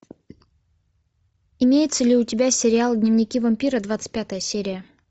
имеется ли у тебя сериал дневники вампира двадцать пятая серия